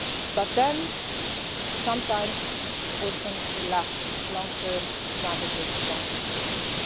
not for today. But then sometimes or often we lack long term strategies and long